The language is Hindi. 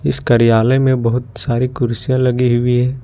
इस कार्यालय में बहुत सारी कुर्सियां लगी हुई है।